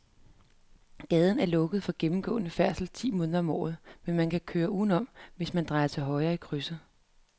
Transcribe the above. Gaden er lukket for gennemgående færdsel ti måneder om året, men man kan køre udenom, hvis man drejer til højre i krydset.